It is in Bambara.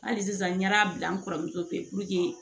Hali sisan n ɲɛda bila n kɔrɔmuso fɛ ye